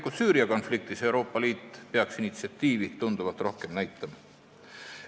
Ka Süüria konfliktis peaks Euroopa Liit initsiatiivi tunduvalt rohkem näitama.